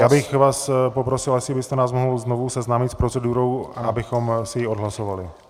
Já bych vás poprosil, jestli byste nás mohl znovu seznámit s procedurou, abychom si ji odhlasovali.